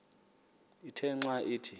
ithe xa ithi